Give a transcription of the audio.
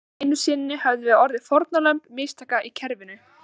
Enn einu sinni höfðum við orðið fórnarlömb mistaka í kerfinu.